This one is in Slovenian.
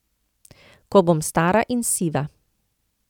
Ko bom stara in siva.